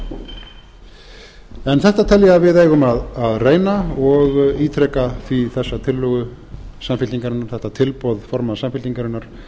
tengist þetta tel ég að við eigum að reyna og ítreka því þessa tillögu samfylkingarinnar þetta tilboð formanns samfylkingarinnar